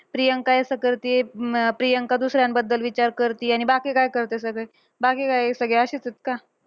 प्रियंका ऐसा करती है, अं प्रियंका दुसऱ्यांबद्दल विचार करती आणि बाकी काय करता सगळे? बाकी काय असेच आहेत का?